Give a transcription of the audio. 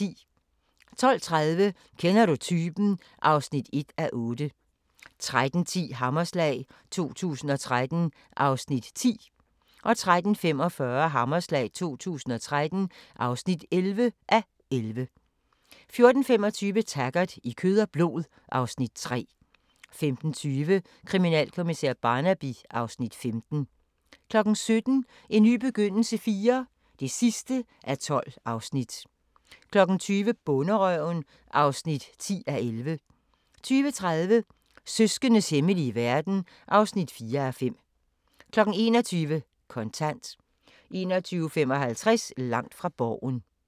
12:30: Kender du typen? (1:8) 13:10: Hammerslag 2013 (10:11) 13:45: Hammerslag 2013 (11:11) 14:25: Taggart: I kød og blod (Afs. 3) 15:20: Kriminalkommissær Barnaby (Afs. 15) 17:00: En ny begyndelse IV (12:12) 20:00: Bonderøven (10:11) 20:30: Søskendes hemmelige verden (4:5) 21:00: Kontant 21:55: Langt fra Borgen